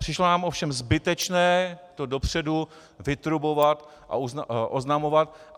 Přišlo nám ovšem zbytečné to dopředu vytrubovat a oznamovat.